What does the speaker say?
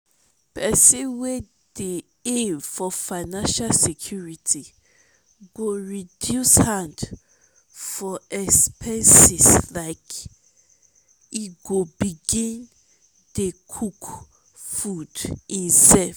pesin wey dey aim for financial security go reduce hand for expenseslike e go begin dey cook food em self.